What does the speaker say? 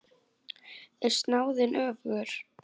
Er snáðinn öfugur?